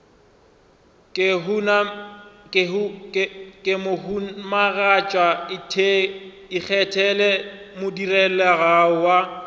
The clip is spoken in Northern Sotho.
ke mohumagatšana ikgethele modirelaleago wa